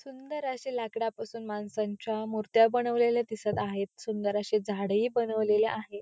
सुंदर असे लाकडापासून माणसांच्या मुर्त्या बनवलेल्या दिसत आहेत सुंदर अशी झाडे ही बनवलेले आहे.